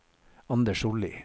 Anders Sollie